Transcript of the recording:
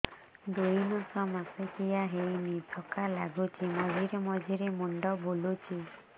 ଦୁଇ ମାସ ମାସିକିଆ ହେଇନି ଥକା ଲାଗୁଚି ମଝିରେ ମଝିରେ ମୁଣ୍ଡ ବୁଲୁଛି